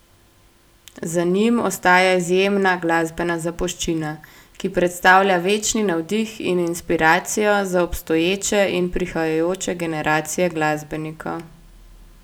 Za njim ostaja izjemna glasbena zapuščina, ki predstavlja večni navdih in inspiracijo za obstoječe in prihajajoče generacije glasbenikov.